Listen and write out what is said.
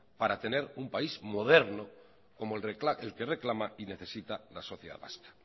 para tener un país moderno como el que reclama y necesita la sociedad vasca